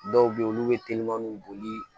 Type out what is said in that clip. Dɔw bɛ yen olu bɛ boli